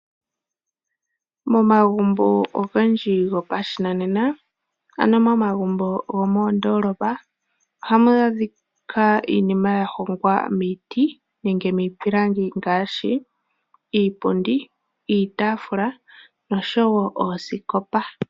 Momagumbo ogendji gopashinanena ano momagumbo gomoondolapa, ohamu adhika iinima ya hongwa miiti nenge miipilangi. Ngaashi iipundi, iitafula noosikopa.